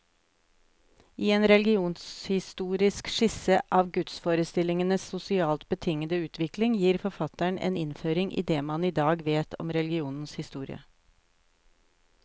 I en religionshistorisk skisse av gudsforestillingenes sosialt betingede utvikling, gir forfatteren en innføring i det man i dag vet om religionens historie.